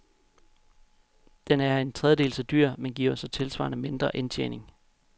Den er en tredjedel så dyr, men giver så tilsvarende mindre indtjening.